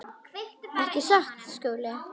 Ekki satt, Skúli?